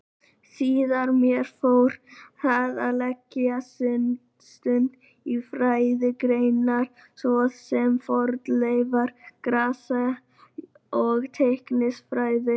Síðar meir fóru þeir að leggja stund á fræðigreinar svo sem fornleifa-, grasa- og læknisfræði.